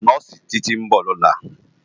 Nòsi Titi n bò lòlá